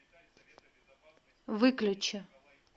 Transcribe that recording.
выключи